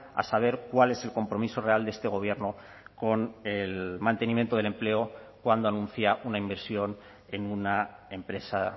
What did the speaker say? a saber cuál es el compromiso real de este gobierno con el mantenimiento del empleo cuando anuncia una inversión en una empresa